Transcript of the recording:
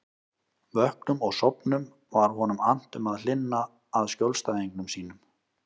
Vöknum og sofnum var honum annt um að hlynna að skjólstæðingum sínum.